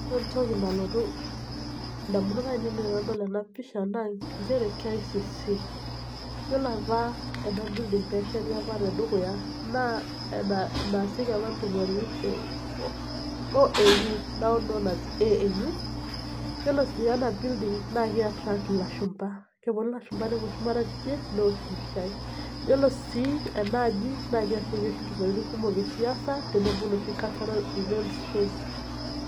Ore entoki nalotu ndamunot ainiei tanadol ena pisha na nchere kicc, ore apa ena building pesheti naa pesheti apa tedukuya naa enasieki apa ntumoritin e oau, na ore si ena building naa kei attract lashumba, keponu ake lashumba neosh mpishai ore sii enaaji na ninye eibungieki ntumoritin kumok esiasa cultural events shows